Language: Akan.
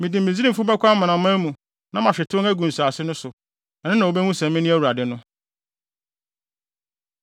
Mede Misraimfo bɛkɔ amanaman mu na mahwete wɔn agu nsase no so. Ɛno na wobehu sɛ mene Awurade no.”